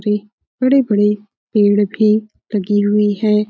रे बड़े-बड़े पेड़ भी लगी हुई है।